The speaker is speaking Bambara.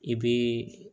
I bii